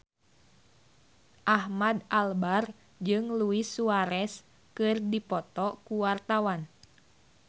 Ahmad Albar jeung Luis Suarez keur dipoto ku wartawan